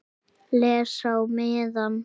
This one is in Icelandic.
Les á miðann.